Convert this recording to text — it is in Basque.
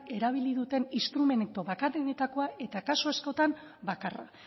erabili duten instrumentu bakarrenetakoa eta kasu askotan bakarra